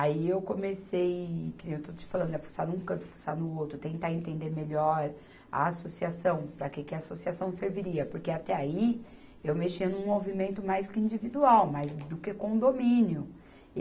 Aí eu comecei, que nem eu estou te falando, a fuçar num canto, fuçar no outro, tentar entender melhor a associação, para que que a associação serviria, porque até aí eu mexia num movimento mais que individual, mais do que condomínio.